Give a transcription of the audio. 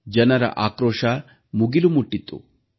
ಜನರ ಆಕ್ರೋಶ ಮುಗಿಲು ಮುಟ್ಟಿತ್ತು